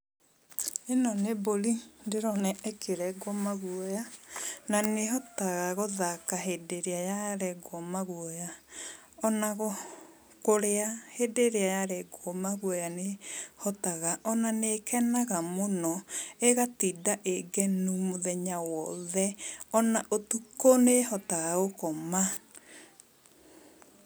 Ĩno nĩ mbũri ndĩrona ĩkĩrengwo maguoya, na nĩ ĩhotaga gũthaka hĩndĩ ĩrĩa yarengwo maguoya. Ona kũrĩa hĩndĩ ĩrĩa yarengwo maguoya nĩ ĩhotaga, ona nĩ ĩkenaga mũno, ĩgatinda ĩngenu mũthenya wothe, ona ũtukũ nĩ ĩhotaga gũkoma.